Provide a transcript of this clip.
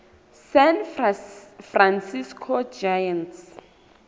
san francisco giants